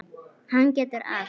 Hann getur allt.